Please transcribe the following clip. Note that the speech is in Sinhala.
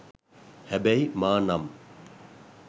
හැබැයි මා නම්